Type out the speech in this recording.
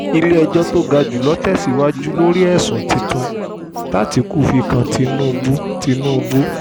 iie-ẹjọ́ tó ga jù lọ tẹ̀síwájú lórí àwọn ẹ̀sùn tuntun tátikú fi kan tinubu tinubu